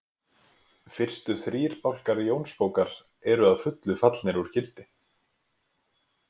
Fyrstu þrír bálkar Jónsbókar eru að fullu fallnir úr gildi.